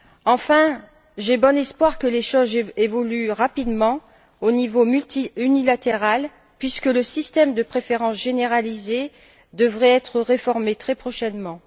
Enfin, j'ai bon espoir que les choses évoluent rapidement au niveau unilatéral puisque le système de préférences généralisées devrait être réformé très prochainement.